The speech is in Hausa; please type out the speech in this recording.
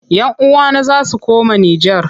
Yan uwana za su koma Nijar.